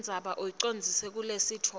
indzaba ucondzise kulesitfombe